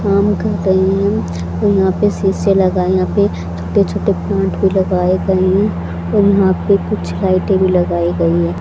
काम कर रहे हैं और यहां पे शीशे लगा है यहां पे छोटे छोटे प्लांट भी लगाए गए हैं और यहां पे कुछ लाइटें भी लगाई गई है।